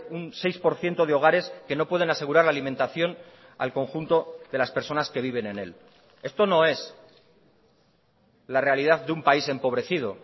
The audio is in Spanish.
un seis por ciento de hogares que no pueden asegurar la alimentación al conjunto de las personas que viven en él esto no es la realidad de un país empobrecido